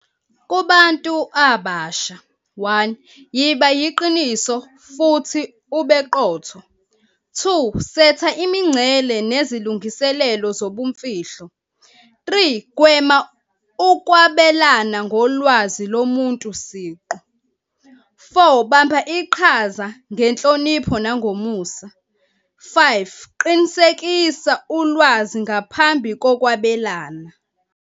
Kubantu abasha, one yiba yiqiniso futhi ubeqotho. Two setha imincele nezilungiselelo zobumfihlo. Three, gwema ukwabelana ngolwazi lomuntu siqu. Four, bamba iqhaza ngenhlonipho nangomusa. Five, qinisekisa ulwazi ngaphambi kokwabelana.